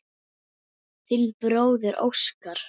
Þinn bróðir Óskar.